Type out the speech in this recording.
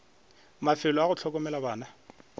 mafelo a go hlokomela bana